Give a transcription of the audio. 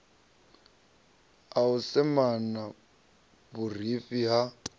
a u semana vhurifhi ha